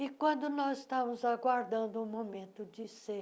E quando nós estávamos aguardando o momento de ser